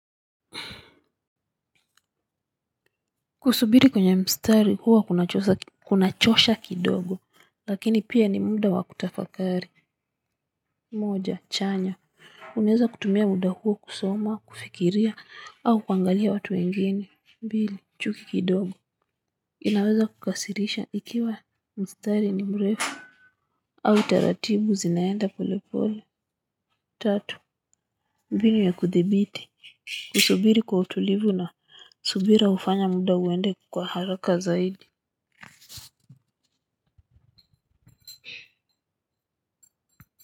Kusubiri kwenye mstari huwa kunachosha kidogo lakini pia ni muda wa kutafakari. Moja chanya, unaweza kutumia muda huo kusoma, kufikiria au kuangalia watu wengine. Mbili; chuki kidogo inaweza kukasirisha ikiwa mstari ni mrefu au taratibu zinaenda polepole tatu: mbinu ya kuthibiti kusuburi kwa utulivu na subira hufanya muda uende kwa haraka zaidi.